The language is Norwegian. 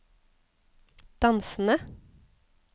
dansende